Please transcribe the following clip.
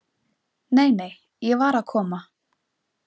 Nei, nei, ég var að koma.